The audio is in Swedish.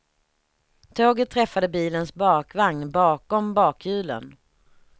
Tåget träffade bilens bakvagn, bakom bakhjulen.